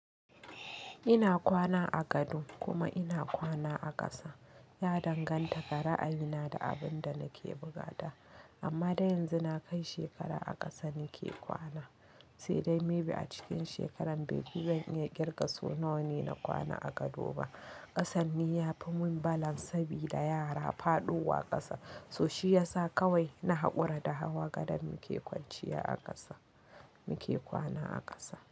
Ina kwana a gado kuma ina kwana a ƙasa. Ya danganta ga ra'ayi na da abin da nake buƙata. Amma deh yanzu na kai shekara a ƙasa nake kwana, sai dai maybe a cikin shekarar baifi zan iya ƙirga so nawa ne na kwana a gado ba. Ƙasan ni yafi mun balance sabida yara faɗowa ƙasa, so shi yasa kawai na haƙura da hawa gadon muke kwanciya a ƙasa, muke kwana a ƙasa.